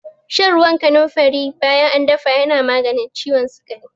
Shan ruwan kanunfari bayan an dafa yana maganin ciwon sikari.